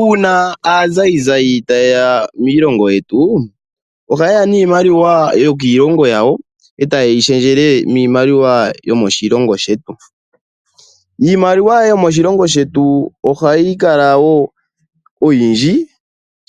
Uuna aazayizayi taye ya miilongo yetu ohaye a niimaliwa yokiilongo yawo etaye yi shendjele miimaliwa yo moshilongo shetu. Iimaliwa yomoshilongo shetu ohayi kala oyindji